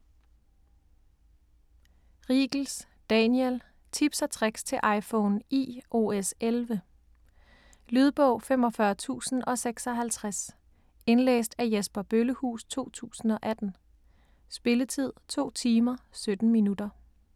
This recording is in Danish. Riegels, Daniel: Tips & tricks til iPhone iOS11 Lydbog 45056 Indlæst af Jesper Bøllehuus, 2018. Spilletid: 2 timer, 17 minutter.